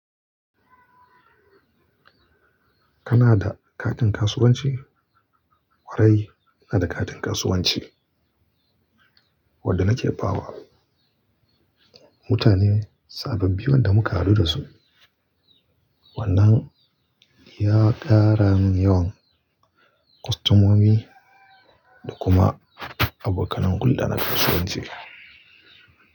Kana da katin kasuwanci? Kwarai, ina da katin kasuwanci wanda nake ba wa mutane sabbin da muka haɗu dasu. Wannan ya ƙara min yawan kwastomomi da kuma abokan hulɗa na kasuwanci.